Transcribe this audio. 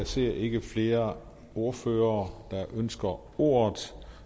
ser ikke flere ordførere der ønsker ordet